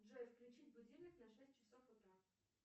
джой включить будильник на шесть часов утра